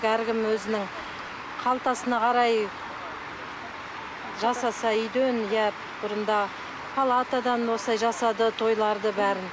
әркім өзінің қалтасына қарай жасаса үйден иә бұрында палатадан осылай жасады тойларды бәрін